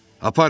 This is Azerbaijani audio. Aparın!